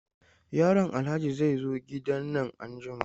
Yaron Alhaji zai zo gidan nan anjima.